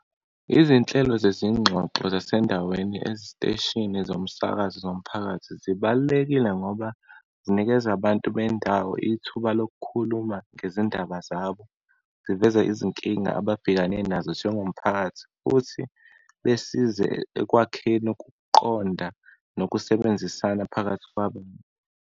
Izinhlelo zezingxoxo zasendaweni eziteshini zomsakazo zomphakathi, zibalulekile ngoba zinikeza abantu bendawo ithuba lokukhuluma ngezindaba, ziveze izinkinga ababhekane nazo njengomphakathi, futhi besize ekwakheni ukuqonda nokusebenzisana phakathi kwabo.